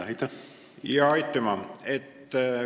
Aitüma!